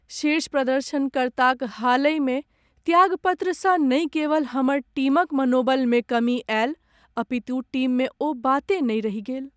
शीर्ष प्रदर्शनकर्ताक हालहिमे त्यागपत्रसँ नहि केवल हमर टीमक मनोबलमे कमी आयल अपितु टीममे ओ बाते नहि रहि गेल।